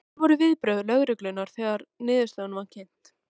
Hver voru viðbrögð lögreglumanna þegar að niðurstaðan var kynnt?